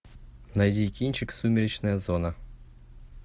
найди кинчик сумеречная зона